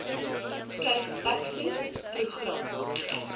cape access program